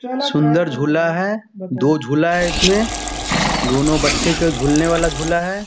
सुन्दर झूला है। दो झूला है इसमें। दोनों बच्चे के झूलने वाला झूला है।